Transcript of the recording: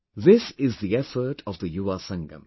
This is the effort of the Yuva Sangam